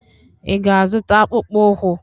Ị ga-azụta akpụkpọ ụkwụ?